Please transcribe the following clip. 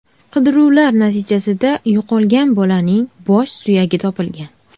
Qidiruvlar natijasida yo‘qolgan bolaning bosh suyagi topilgan.